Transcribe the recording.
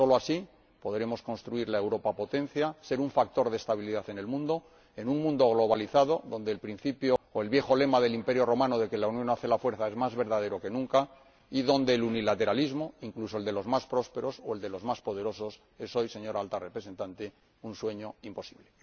Solo así podremos construir la Europa potencia y ser un factor de estabilidad en el mundo, en un mundo globalizado en el que el viejo lema del imperio romano de que la unión hace la fuerza es más verdadero que nunca y en el que el unilateralismo, incluso el de los más prósperos o el de los más poderosos, es hoy, señora Alta Representante, un sueño imposible.